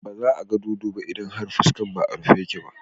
Ba za a ga dodo ba idan fuskar ba a rufe take ba.